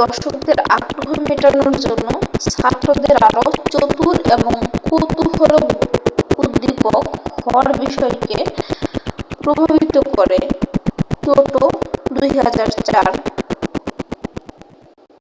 দর্শকদের আগ্রহ মেটানোর জন্য ছাত্রদের আরো চতুর এবং কৌতূহলোদ্দীপক হওয়ার বিষয়কে প্রভাবিত করে টোটো ২০০৪।